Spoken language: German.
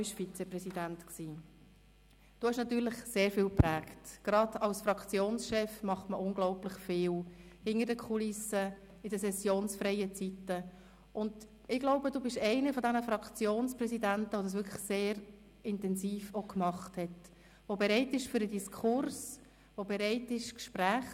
Liebe Regierungsmitglieder auf den Regierungsbänken zu meiner Rechten und meiner Linken – Sie wurden bereits schön separiert –, liebe Grossrätinnen und Grossräte, ich wünsche uns allen einen guten Abschluss dieser letzten Sessionswoche.